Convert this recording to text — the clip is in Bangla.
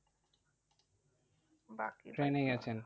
ট্রেনে গেছেন?